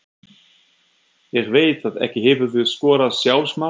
Ég veit það ekki Hefurðu skorað sjálfsmark?